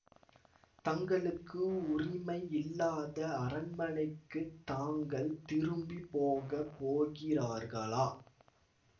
தங்களுக்கு உரிமை இல்லாத அரண்மனைக்குத் தாங்கள் திரும்பி போக போகிறார்களா